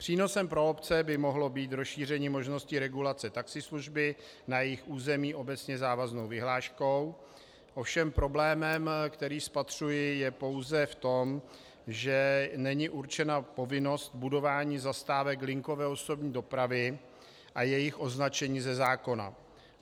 Přínosem pro obce by mohlo být rozšíření možnosti regulace taxislužby na jejich území obecně závaznou vyhláškou, ovšem problém, který spatřuji, je pouze v tom, že není určena povinnost budování zastávek linkové osobní dopravy a jejich označení ze zákona.